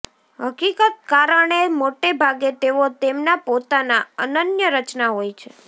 હકીકત કારણે મોટે ભાગે તેઓ તેમના પોતાના અનન્ય રચના હોય છે